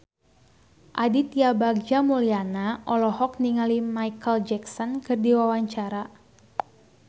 Aditya Bagja Mulyana olohok ningali Micheal Jackson keur diwawancara